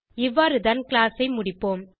இவ்வாறுதான் கிளாஸ் ஐ முடிப்போம்